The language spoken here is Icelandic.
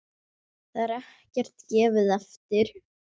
Þar er ekkert gefið eftir.